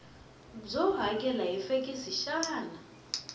byo hakela hi fekisi xikan